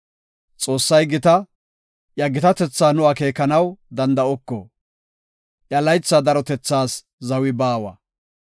Xoossay gita! Iya gitatetha nu akeekanaw danda7oko; iya laytha darotethaas zawi baawa.